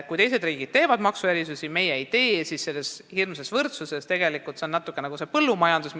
Kui teised riigid teevad maksuerisusi ja meie ei tee, siis on sellega tegelikult natuke nii nagu põllumajandusega.